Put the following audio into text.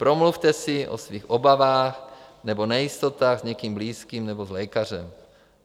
Promluvte si o svých obavách nebo nejistotách s někým blízkým nebo s lékařem.